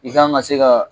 I kan ka se ka